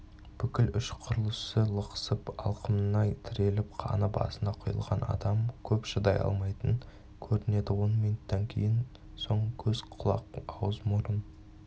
бүкіл ішқұрылысы лықсып алқымына тіреліп қаны басына құйылған адам көп шыдай алмайтын көрінеді он минуттан соң көз құлақ ауыз мұрын